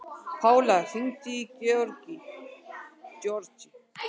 Pála, hringdu í Grégory.